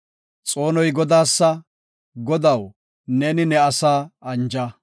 Xoonoy Godaasa; Godaw, neeni ne asaa anja. Salah